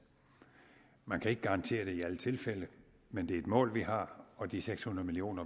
man kan ikke garantere det i alle tilfælde men det er et mål vi har og de seks hundrede million